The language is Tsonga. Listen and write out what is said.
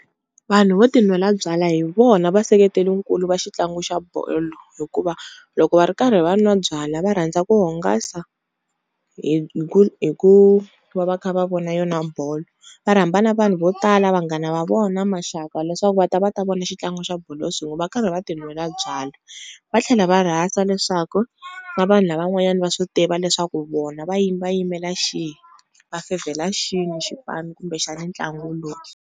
Vanhu vo ti nwela byalwa hi vona va seketeli nkulu va xitlangu xa bolo, hikuva loko va ri karhi va nwa byalwa va rhandza ku hungasa hi ku hi ku va va kha va vona yona bolo. Va rhamba na vanhu vo tala vanghana va vona maxaka leswaku va ta va ta vona xitlangu xa bolo swin'we va karhi va ti nwela byalwa. Va tlhela va rhasa leswaku na vanhu lavan'wanyani va swi tiva leswaku vona va va yimela xihi, va fevhela xini xipano kumbe xana ntlangu lowu.